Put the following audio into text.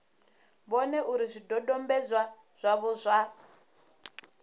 vhone uri zwidodombedzwa zwavho zwa